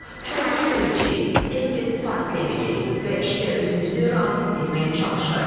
Çoxlu su içirik, tez-tez fasilə veririk və işdə özümüzü rahat hiss etməyə çalışırıq.